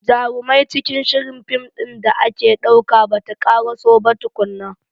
Jarumai cikin shirin film din da ake dauka bata karaso ba tukunna.